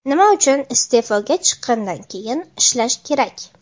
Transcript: Nima uchun iste’foga chiqqandan keyin ishlash kerak.